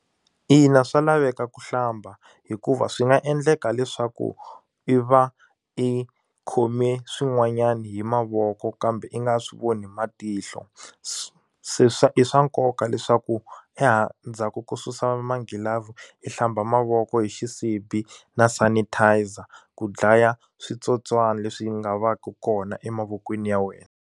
Ina swa laveka ku hlamba hikuva swi nga endleka leswaku i va i khome swin'wanyani hi mavoko kambe i nga swi voni hi matihlo se swa i swa nkoka leswaku endzhaku ko susa magilavhu i hlamba mavoko hi xisibi na sanitizer ku dlaya switsotswana leswi nga va ku kona emavokweni ya wena.